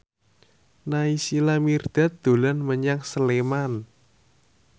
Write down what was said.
Naysila Mirdad dolan menyang Sleman